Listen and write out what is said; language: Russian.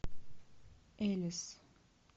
элис